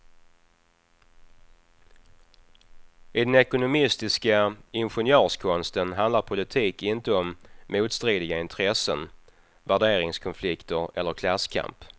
I den ekonomistiska ingenjörskonsten handlar politik inte om motstridiga intressen, värderingskonflikter eller klasskamp.